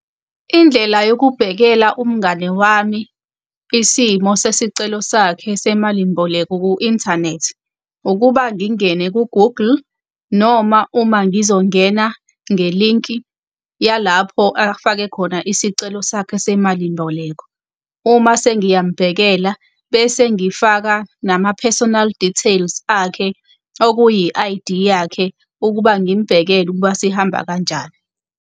Indlela yokubhekela umngani wami isimo sesicelo sakhe semalimboleko ku-inthanethi ukuba ngingene ku-Google, noma uma ngizongena ngelinki yalapho afake khona isicelo sakhe semalimboleko. Uma sengiyamubhekela, bese ngifaka nama-personal details akhe okuyi-I_D yakhe ukuba ngimbekele ukuba sihamba kanjani.